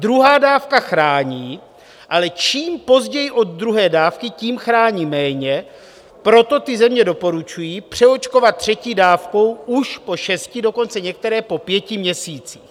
Druhá dávka chrání, ale čím později od druhé dávky, tím chrání méně, proto ty země doporučují přeočkovat třetí dávkou už po šesti, dokonce některé po pěti měsících.